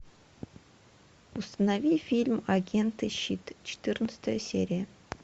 установи фильм агент и щит четырнадцатая серия